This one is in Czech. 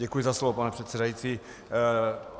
Děkuji za slovo, pane předsedající.